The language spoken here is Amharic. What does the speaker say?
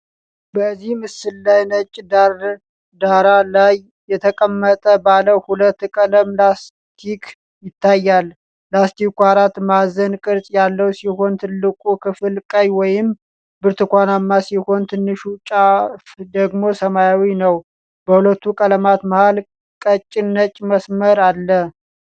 በዚህ ምስል ላይ ነጭ ዳራ ላይ የተቀመጠ ባለ ሁለት ቀለም ላስቲክ ይታያል። ላስቲኩ አራት ማዕዘን ቅርጽ ያለው ሲሆን፣ ትልቁ ክፍል ቀይ ወይም ብርቱካናማ ሲሆን፣ ትንሹ ጫፍ ደግሞ ሰማያዊ ነው። በሁለቱ ቀለማት መሀል ቀጭን ነጭ መስመርአለ።